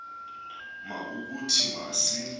ma ukuthi masi